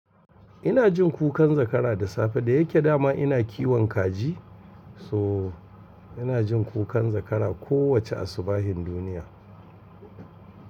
Ina jin kukan zakara da safe da yake dama ina kiwon kaji. So ina jin kukan zakara kowace asubahin duniya.